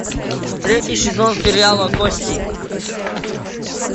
третий сезон сериала кости